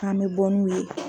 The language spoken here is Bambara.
K' an bɛ bɔ n'u ye.